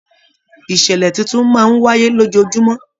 Ìṣẹlẹ títún máa n wáyé lójoojúmọ́.